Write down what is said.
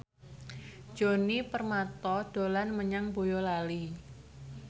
Djoni Permato dolan menyang Boyolali